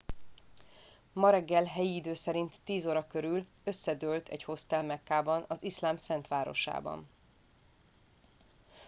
ma reggel helyi idő szerint 10 óra körül összedőlt egy hostel mekkában az iszlám szent városában